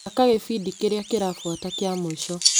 Thaka gĩbindi kĩrĩa kĩrabuata kĩa mũico .